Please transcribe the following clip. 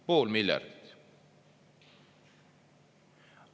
Pool miljardit!